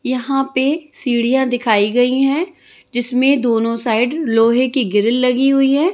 यहाँ पर सिढियाँ दिखाई गयी है जिसमे दोनों साइड लोहे की ग्रील लगी हुई है।